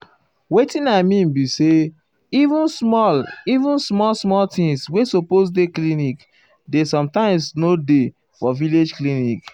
wetin i mean be say[um][um] even small even small small things wey supose dey clinic dey sometimes nor dey for village clinic.